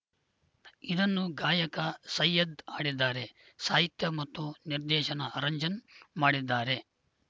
ಇದನ್ನು ಗಾಯಕ ಸೈಯದ್‌ ಹಾಡಿದ್ದಾರೆ ಸಾಹಿತ್ಯ ಮತ್ತು ನಿರ್ದೇಶನ ಅರಂಜನ್ ಮಾಡಿದ್ದಾರೆ